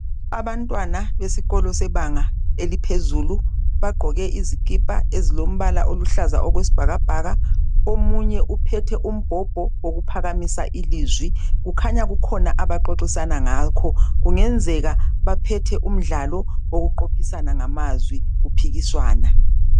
Abantwana besikolo sebanga eliphezulu bagqoke izikipa ezilombala oluhlaza okwesibhakabhaka, omunye uphethe umbhobho wokuphakamisa ilizwi kukhanya kukhona abaxoxisana ngakho. Kungenzeka baphethe umdlalo wokuqophisana ngamazwi kuphikiswana.